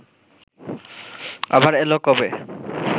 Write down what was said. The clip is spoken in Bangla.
আবার এল কবে